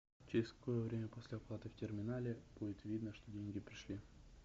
через какое время после оплаты в терминале будет видно что деньги пришли